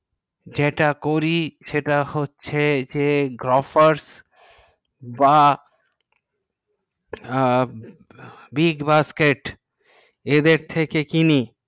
যেটা করি সেটা হচ্ছে grofer বা big basket এদের থেকে কিনি